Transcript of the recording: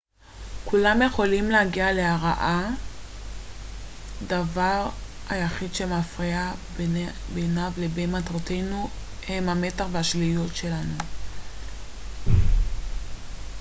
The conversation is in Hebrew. כולם יכולים להגיע להארה הדבר היחיד שמפריד בינניו לבין מטרותינו הם המתח והשליליות שלנו